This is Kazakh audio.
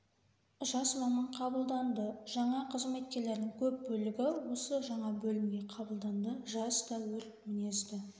жас маман қабылданды жаңа қызметкерлердің көп бөлігі осы жаңа бөлімге қабылданды жас та өрт мінезді